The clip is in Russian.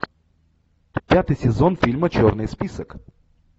пятый сезон фильма черный список